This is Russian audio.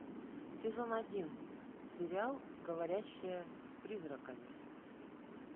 сезон один сериал говорящая с призраками